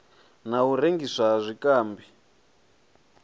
na u rengiswa ha zwikambi